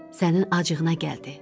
Sənin acığına gəldi.